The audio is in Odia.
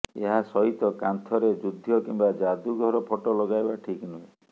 ଏହାସହିତ କାନ୍ଥରେ ଯୁଦ୍ଧ କିମ୍ୱା ଯାଦୁଘର ଫଟୋ ଲଗାଇବା ଠିକ୍ ନୁହେଁ